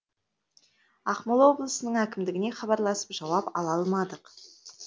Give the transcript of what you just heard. ақмола облысының әкімдігіне хабарласып жауап ала алмадық